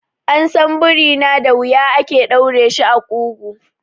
An san biri na da wuya ake ɗaure shi a ƙugu.